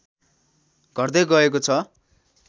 घट्दै गएको छ